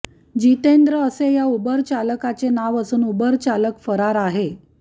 जितेंद्र असे या उबर चालकाचे नाव असून उबर चालक फरार आहे